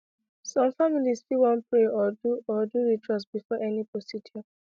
some families fit wan pray or do or do ritual before any procedure